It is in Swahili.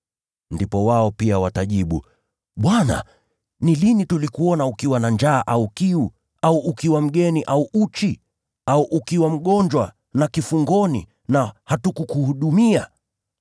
“Ndipo wao pia watajibu, ‘Bwana ni lini tulikuona ukiwa na njaa au kiu, au ukiwa mgeni au uchi, au ukiwa mgonjwa na kifungoni na hatukukuhudumia?’